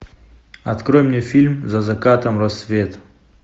открой мне фильм за закатом рассвет